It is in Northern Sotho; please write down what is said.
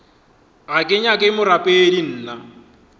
ga ke nyake borapedi nna